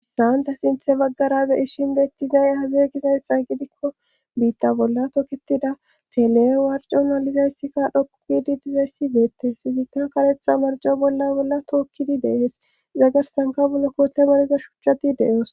hissaanta sinthe baggara beishinbeettizay hazeegizaysxa gidikko biitta bolla toketida tele warco malizayssikka dhokkugidi dizayssi beette fizikka karetha marjo bolla bolla tookkidi deehees zagarsanka bollo koohte mareza shuchchati de7oos